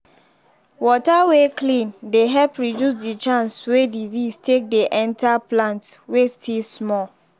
water wey clean dey help reduce the chance wey disease ake dey enter plant wey still small